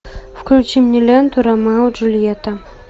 включи мне ленту ромео и джульетта